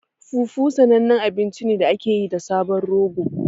Fufu sanannen abinci ne da aka yi da sabon rogo.